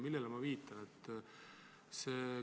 Millele ma viitan?